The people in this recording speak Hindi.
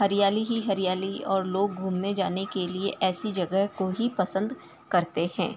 हरियाली ही हरियाली और लोग घूमने जाने के लिए ऐसी जगह को ही पसंद करते हैं।